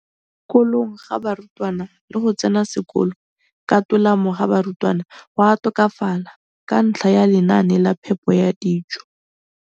Kolong ga barutwana le go tsena sekolo ka tolamo ga barutwana go a tokafala ka ntlha ya lenaane la phepo ya dijo.